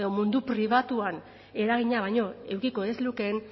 mundu pribatuan eragina baino edukiko ez lukeen